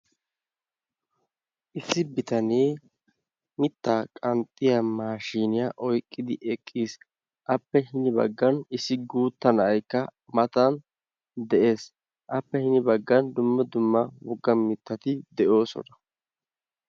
issi bitanee mitta qanxxiya maashiniyaa oyqqidi eqqiis. appe hin baggan issi guuttaa na'aykka matan de'ees. appe hin baggan dumma dumma wogga mittati de'oosona.